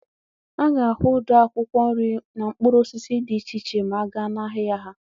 A ga-ahụ ụdị akwụkwọ nri na mkpụrụ osisi dị iche iche ma a gaa n'ahịa ha.